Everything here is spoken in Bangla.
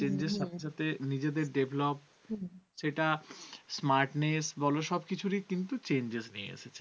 smartness বল সবকিছুই কিন্তু changes নিয়ে এসেছে।